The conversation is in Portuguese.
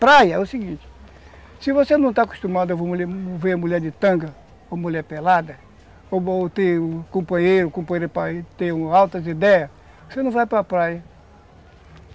Praia, é o seguinte, se você não está acostumado a ver ver mulher de tanga ou mulher pelada, ou ter um companheiro com altas ideias, você não vai para a praia.